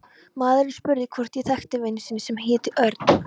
Maðurinn spurði hvort ég þekkti vin sinn sem héti Örn